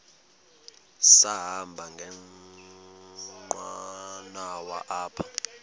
sahamba ngenqanawa apha